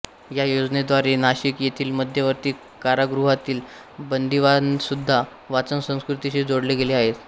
या योजनेद्वारे नाशिक येथील मध्यवर्ती कारागृहातील बंदिवानसुद्धा वाचनसंस्कृतीशी जोडले गेले आहेत